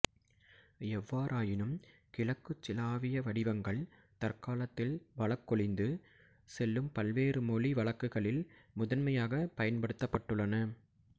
எவ்வாறாயினும் கிழக்குச் சிலாவிய வடிவங்கள் தற்காலத்தில் வழக்கொழிந்து செல்லும் பல்வேறு மொழி வழக்குகளில் முதன்மையாகப் பயன்படுத்தப்பட்டுள்ளன